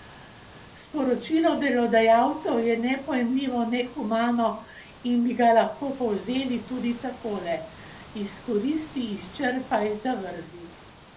Sporočilo delodajalcev je nepojmljivo nehumano in bi ga lahko povzeli tudi takole: "Izkoristi, izčrpaj, zavrzi!